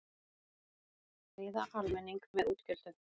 Friða almenning með útgjöldum